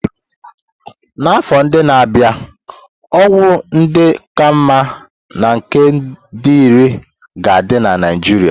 N'afọ ndị na-abịa, ọgwụ ndị ka mma na nke dị irè ga-adị na Naijiria.